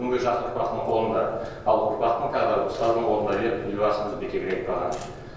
бүгінгі жас ұрпақтың қолында ал ұрпақтың тағдыры ұстаздың қолында деп елбасымыз бекерге айтпаған